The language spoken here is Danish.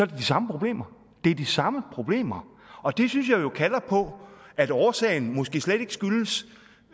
det de samme problemer det er de samme problemer og det synes jeg jo kalder på at årsagen måske slet ikke